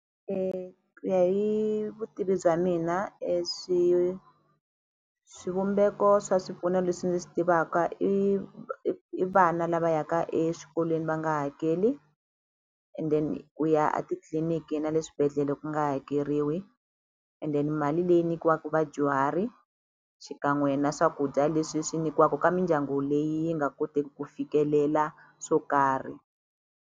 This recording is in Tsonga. Ku ya hi vutivi bya mina e swivumbeko swa swipfuno leswi ni swi tivaka i i vana lava yaka exikolweni va nga hakeli and then ku ya a titliliniki na le swibedhlele ku nga hakeriwi and then mali leyi nyikiwaku vadyuhari xikan'we na swakudya leswi swi nyikiwaku ka mindyangu leyi yi nga koteki ku fikelela swo karhi.